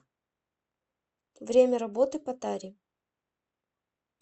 время работы патари